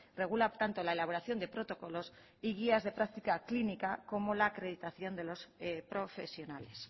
regula tanto la elaboración de protocolos y guías de práctica clínica como la acreditación de los profesionales